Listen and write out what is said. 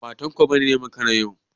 Ba Tanko ba ne ya makara yau.